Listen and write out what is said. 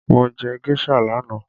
Mo jẹ géṣà lánàá